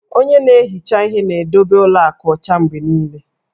Onye na-ehicha ihe na-edobe ụlọ akụ ọcha mgbe niile